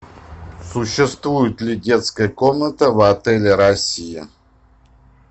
существует ли детская комната в отеле россия